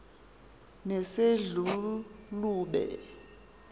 nesedlulube